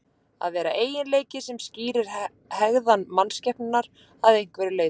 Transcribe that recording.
Að vera eiginleiki sem skýrir hegðan mannskepnunnar að einhverju leyti.